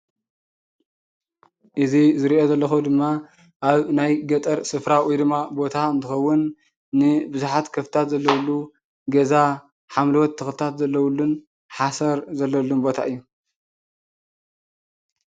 እዚ ዝሪኦ ዘለኩ ድማ ኣብ ናይ ገጠር ስፍራ ወይ ድማ ቦታ እንትኸውን ንብዙሓት ከፍትታት ዘለውሉ ገዛ ሓምለዎት ተኽልታት ዘለውሉን ሓሰር ዘለውሉን ቦታ እዩ።